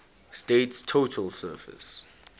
state's total surface